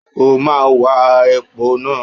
O máa wa epo náà.